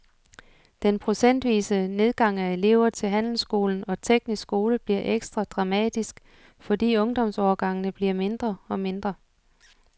Den procentvise nedgang af elever til handelsskolen og teknisk skole bliver ekstra dramatisk, fordi ungdomsårgangene bliver mindre og mindre.